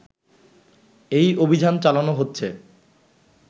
এই অভিযান চালানো হচ্ছে